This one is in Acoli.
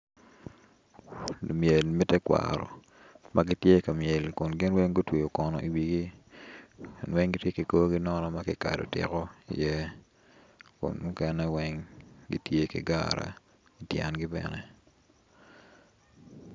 Lumyel me tekwaro ma gitye ka myel kun gin weny gutweyo kono i wigi gin weny giti ki korgi nono ma kikado tiko iye kun mukene weny gitye ki gara ityengi bene